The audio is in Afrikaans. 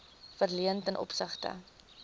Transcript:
verleen ten opsigte